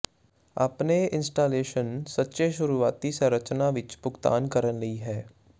ਆਪਣੇ ਇੰਸਟਾਲੇਸ਼ਨ ਸੱਚੇ ਸ਼ੁਰੂਆਤੀ ਸੰਰਚਨਾ ਵਿੱਚ ਭੁਗਤਾਨ ਕਰਨ ਲਈ ਹੈ